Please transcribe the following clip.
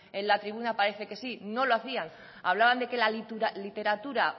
en la tribuna parece que sí no lo hacían hablaban de que la literatura